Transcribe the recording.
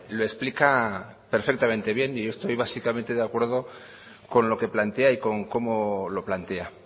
lo explica perfectamente bien yo estoy básicamente de acuerdo con lo que plantea y con cómo lo plantea